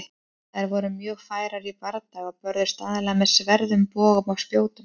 Þær voru mjög færar í bardaga og börðust aðallega með sverðum, bogum og spjótum.